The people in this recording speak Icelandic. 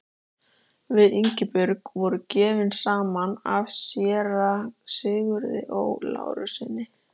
Við Ingibjörg voru gefin saman af séra Sigurði Ó. Lárussyni.